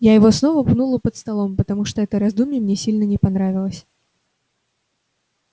я его снова пнула под столом потому что это раздумье мне сильно не понравилось